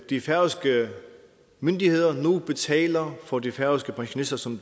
de færøske myndigheder nu betaler for de færøske pensionister som